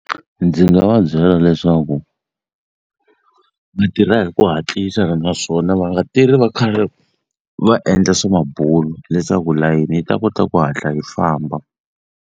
Ndzi nga va byela leswaku mitirha hi ku hatlisa naswona va nga tirhi va karhi va endla swa mabulo leswaku layeni yi ta kota ku hatla yi famba.